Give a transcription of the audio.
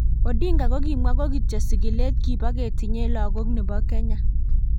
Odinga ko kimwa ko kityo sigilet kibo ketinye lagok nebo Kenya.